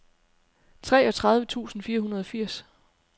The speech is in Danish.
treogtredive tusind fire hundrede og firs